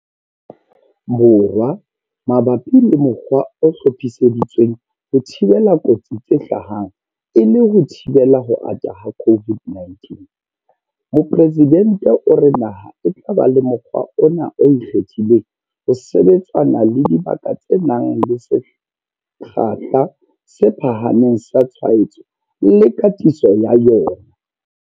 Borwa mabapi le mokgwa o hlophiseditsweng ho thibela kotsi tse ka hlahang e le ho thibela ho ata ha COVID-19. Mopresidente o re naha e tla ba le mokgwa ona o ikgethileng ho sebetsana le dibaka tse nang le sekgahla se phahameng sa tshwaetso le katiso ya yona.